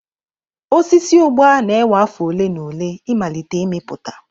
Osisi Ugba na-ewe afọ ole na ole ịmalite ịmịpụta.